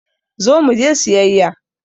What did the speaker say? Zo muje siyayya!